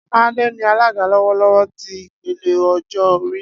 Ade ni alaga lọwọlọwọ ti ipele ọjọ-ori.